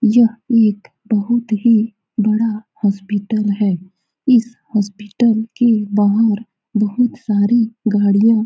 यह एक बहुत ही बड़ा हॉस्पिटल है इस हॉस्पिटल के बाहर बहुत सारे गाड़ियाँ --